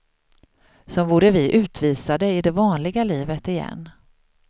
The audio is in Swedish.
Som vore vi utvisade i det vanliga livet igen.